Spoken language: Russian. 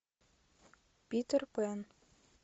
питер пэн